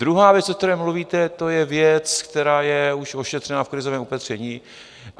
Druhá věc, o které mluvíte, to je věc, která je už ošetřená v krizovém opatření.